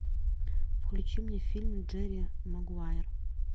включи мне фильм джерри магуайер